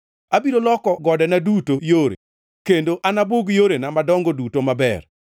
Abiro loko godena duto yore kendo anabug yorena madongo duto maber.